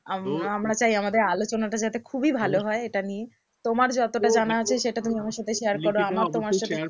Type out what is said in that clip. আমরা তো আমরা চাই আমাদের আলোচনাটা যাতে খুবই ভালো তো হয় এটা নিয়ে তোমার যতটা তো দেখো জানা আছে সেটা তুমি আমার সাথে share করো আমরাও তোমার সাথে